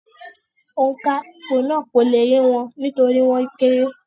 Òǹkà ìpò náà kò le yé wọn nítorí wọ́n kéré